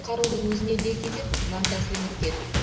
қаруды өзіне де кезеп жан тәсілім еткен